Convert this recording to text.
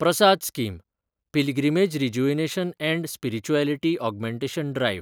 Prasad scheme – pilgrimage rejuvenation and spirituality augmentation drive